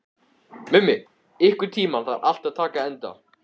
Mummi, einhvern tímann þarf allt að taka enda.